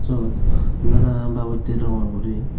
syot nana babotter rongor guri.